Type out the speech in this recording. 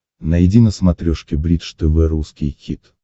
найди на смотрешке бридж тв русский хит